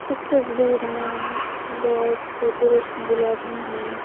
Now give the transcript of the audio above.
इस तस्वीर में बहुत से पुरुष महिला भी हैं।